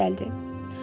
Kap gəldi.